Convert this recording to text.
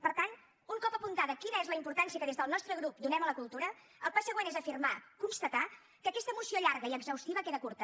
per tant un cop apuntada quina és la importància que des del nostre grup donem a la cultura el pas següent és afirmar constatar que aquesta moció llarga i exhaustiva queda curta